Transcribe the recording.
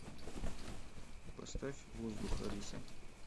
поставь воздух алиса